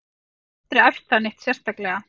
Ég hef aldrei æft það neitt sérstaklega.